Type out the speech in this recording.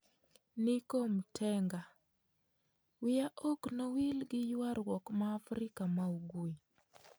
Nico Mtenga: wiya ok nowil gi ywaruok ma Afrika ma ugwe